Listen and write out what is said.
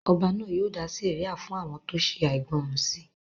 Ọba náà yóò dá sẹ̀ríà fún àwọn tó ṣe àìgbọràn sí